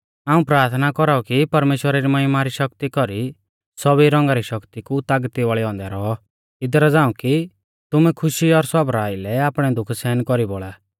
हाऊं प्राथना कौराऊ कि परमेश्‍वरा री महिमा री शक्ति कौरी सौभी रौंगा री शक्ति कु तागती वाल़ै औन्दै रौऔ इदरा झ़ांऊ कि तुमै खुशी और सौबरा आइलै आपणै दुख सहन कौरी बौल़ा